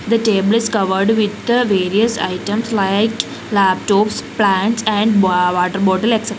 the table is covered with various items like laptops plants and ba water bottle etcetera.